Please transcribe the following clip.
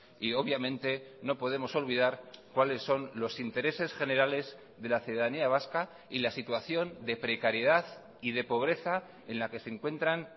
y obviamente no podemos olvidar cuáles son los intereses generales de la ciudadanía vasca y la situación de precariedad y de pobreza en la que se encuentran